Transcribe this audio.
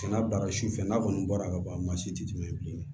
Sɛnɛ baara si fɛ n'a kɔni bɔra ka ban maa si tɛ tɛmɛ bilen